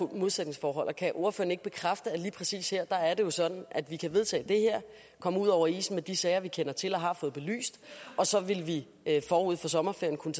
et modsætningsforhold kan ordføreren ikke bekræfte at lige præcis her er det jo sådan at vi kan vedtage det her komme ud over isen med de sager vi kender til og har fået belyst og så vil vi forud for sommerferien kunne